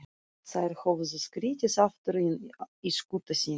Þær höfðu skriðið aftur inn í skúta sína.